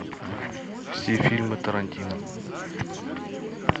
все фильмы тарантино